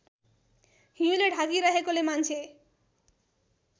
हिउँले ढाकिरहेकोले मान्छे